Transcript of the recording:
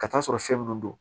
Ka t'a sɔrɔ fɛn mun don